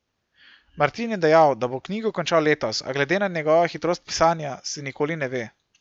Martin je dejal, da bo knjigo končal letos, a glede na njegovo hitrost pisanja, se nikoli ne ve.